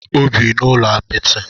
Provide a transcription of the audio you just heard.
O bi n'ụlọ apịtị.